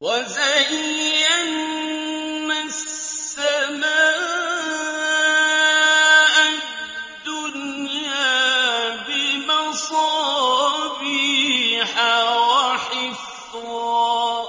وَزَيَّنَّا السَّمَاءَ الدُّنْيَا بِمَصَابِيحَ وَحِفْظًا ۚ